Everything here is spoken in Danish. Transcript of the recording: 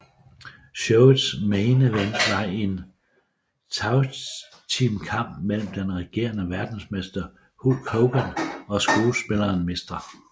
Showets main event var en tagteamkamp mellem den regerende verdensmester Hulk Hogan og skuespilleren Mr